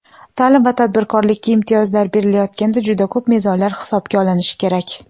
taʼlim va tadbirkorlikka imtiyozlar berilayotganda juda ko‘p mezonlar hisobga olinishi kerak.